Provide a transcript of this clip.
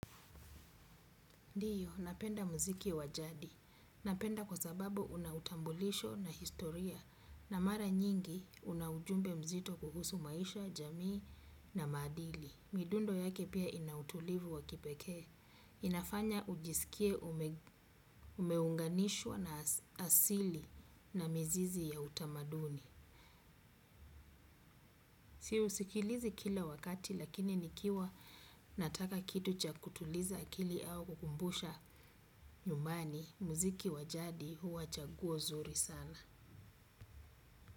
Ndiyo, napenda muziki wa jadi. Napenda kwa sababu una utambulisho na historia na mara nyingi una ujumbe mzito kuhusu maisha, jamii na maadili. Midundo yake pia ina utulivu wa kipekee. Inafanya ujisikie umeunganishwa na asili na mizizi ya utamaduni. Si usikilizi kila wakati lakini nikiwa nataka kitu cha kutuliza akili au kukumbusha nyumbani muziki wa jadi huwa chaguo zuri sana.